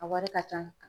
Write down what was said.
A wari ka ca